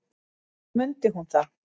Þá mundi hún það.